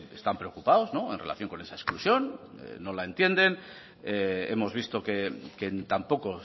están preocupados en relación con esa exclusión no la entienden hemos visto que tampoco